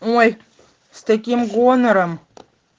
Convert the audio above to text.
ой с таким гонором